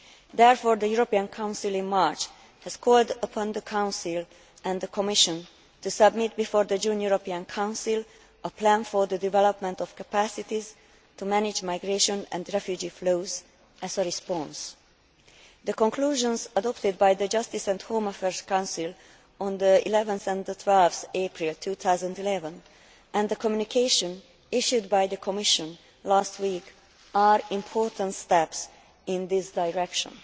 Therefore the European Council in March called upon the Council and the Commission to submit before the June European Council a plan for the development of capacities to manage migration and refugee flows as a response. The conclusions adopted by the Justice and Home Affairs Council on 11 and 12 April 2011 and the communication issued by the Commission last week are important steps in this direction.